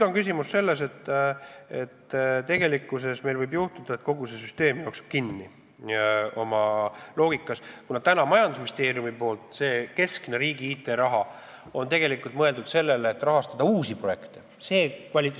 Küsimus on selles, et võib juhtuda, et kogu see süsteem jookseb oma loogikaga kinni, kuna majandusministeeriumi hallatav keskne riigi IT-raha on tegelikult mõeldud uute projektide rahastamiseks.